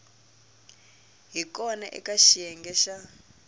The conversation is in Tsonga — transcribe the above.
hi kona eka xiyenge xa